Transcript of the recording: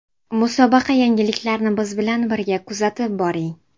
Musobaqa yangiliklarini biz bilan birga kuzatib boring!